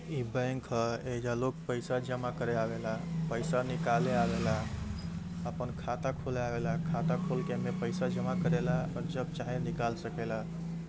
ई bank ह। एइजा लोग पईसा जमा करे आवेला पईसा निकाले आवेला आपन खाता खोले आवेला। खाता खोल के एमे पईसा जमा करेला और जब चाहे निकाल सकेला।